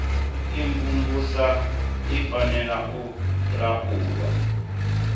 imvumvusa i fanela u laulwa